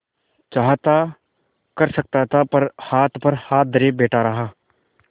चाहता कर सकता था पर हाथ पर हाथ धरे बैठे रहा